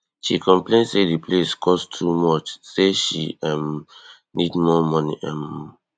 she complain say di place cost too much say she um need more money um